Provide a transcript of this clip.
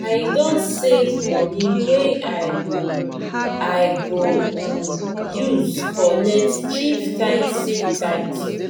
i don save moni wey i go i go um use collect chieftaincy title.